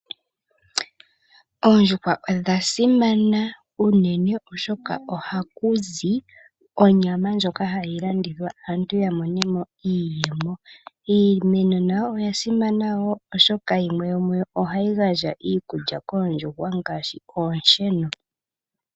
Oondjuhwa odha simana unene, oshoka ohaku zi onyama ndjoka hayi landithwa aantu ya mone mo iiyemo. Iimeno nayo oya simana wo, oshoka yimwe yomuyo ohayi gandja iikulya koondjuhwa ngaashi oonsheno.